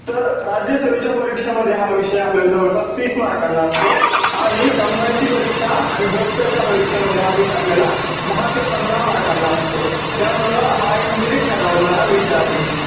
तर राज्यासेवेच्या परीक्षेमध्ये हा विषय आपल्याला जवळपास तीस मार्कांना असतो आणि combine ची परीक्षा आणि गट क च्या परीक्षेमध्ये हा विषय आपल्याला दहा ते पंधरा मार्कांना असतो. त्यामुळं हा एक merit ठरवणारा विषय आहे.